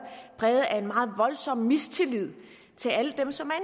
præget af en meget voldsom mistillid til alle dem som er